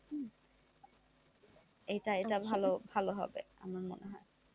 এটা এটা ভালো হবে আমার মনে হয়,